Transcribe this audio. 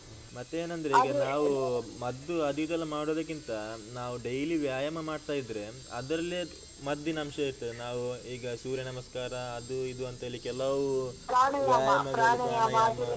ಮತ್ತೆ ಏನಂದ್ರೆ ಈಗ ನಾವು ಅಹ್ ಮದ್ದು ಅದು ಇದೆಲ್ಲ ಮಾಡುದಕ್ಕಿಂತ, ನಾವು ಡೈಲಿ ವ್ಯಾಯಾಮ ಮಾಡ್ತಾ ಇದ್ರೆ, ಅದ್ರಲ್ಲೇ ಮದ್ದಿನಂಶ ಇರ್ತದೆ ನಾವು ಈಗ ಸೂರ್ಯ ನಮಸ್ಕಾರ ಅದು ಇದು ಅಂತ ಹೇಳಿ ಕೆಲವು ವ್ಯಾಯಾಮದಲ್ಲಿ ಪ್ರಾಣಯಾಮ.